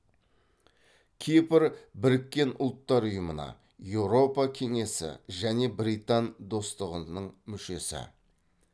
кипр біріккен ұлттар ұйымына еуропа кеңесі және британ достығының мүшесі